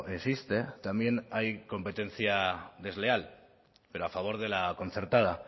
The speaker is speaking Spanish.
existe también hay competencia desleal pero a favor de la concertada